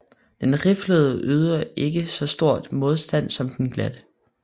Den riflede yder ikke så stor modstand som den glatte